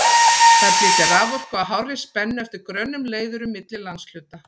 Þær flytja raforku á hárri spennu eftir grönnum leiðurum milli landshluta.